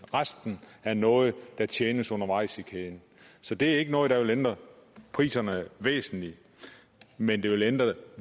og resten er noget der tjenes undervejs i kæden så det er ikke noget der vil ændre priserne væsentligt men det vil ændre